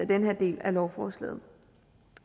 den her del af lovforslaget